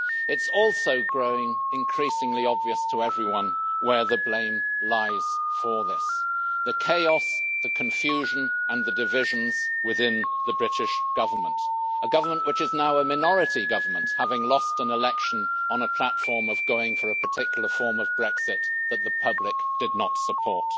It is also growing increasingly obvious to everyone where the blame lies for this the chaos, the confusion and the divisions within the British Government, a government which is now a minority government, having lost an election on a platform of going for a particular form of Brexit that the public did not support.